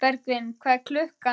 Bergvin, hvað er klukkan?